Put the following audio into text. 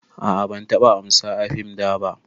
A'a ban taɓa amsa a fim daba.